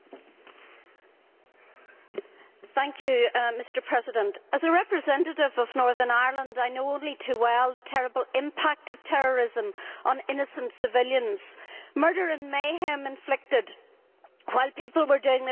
Mr President, as a representative of Northern Ireland, I know only too well the terrible impact of terrorism on innocent civilians murder and mayhem inflicted while people were doing their Saturday shopping in the Shankhill Road in Belfast